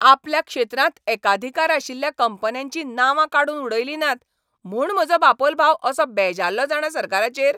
आपल्या क्षेत्रांत एकाधिकार आशिल्ल्या कंपन्यांचीं नांवां काडून उडयलीं नात म्हूण म्हजो बापोल भाव असो बेजाल्लो जाणा सरकाराचेर.